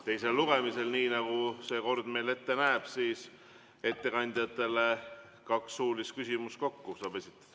Teisel lugemisel, nii nagu kord ette näeb, saab ettekandjatele esitada kokku kaks suulist küsimust.